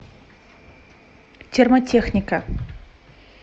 термотехника